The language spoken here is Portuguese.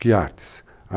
Que artes?